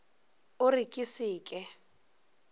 o re ke se ke